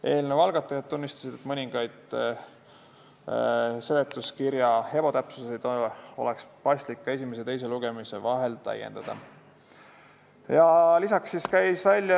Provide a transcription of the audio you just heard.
Eelnõu algatajad tunnistasid, et mõningaid seletuskirja ebatäpsusi oleks paslik esimese ja teise lugemise vahel korrigeerida.